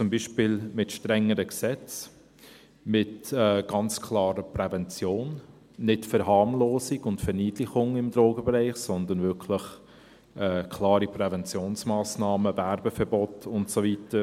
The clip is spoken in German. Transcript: – Zum Beispiel mit strengeren Gesetzen, mit ganz klarer Prävention, keine Verharmlosung und Verniedlichung im Drogenbereich, sondern wirklich klare Präventionsmassnahmen, Werbeverbot und so weiter.